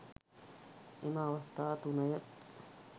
එම අවස්ථා තුනය.